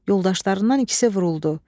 Yoldaşlarından ikisi vuruldu.